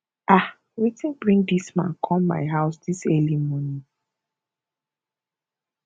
ah wetin bring dis man come my house dis early morning